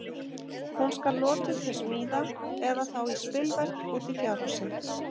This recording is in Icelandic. Hún skal notuð til smíða, eða þá í spilverk úti í fjárhúsi.